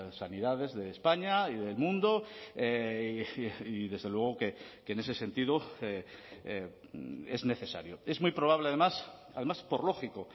sanidades de españa y del mundo y desde luego que en ese sentido es necesario es muy probable además además por lógico